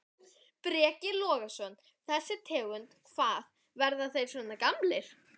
Breki Logason: Þessi tegund, hvað, verða þeir svona gamlir?